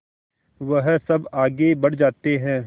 वह सब आगे बढ़ जाते हैं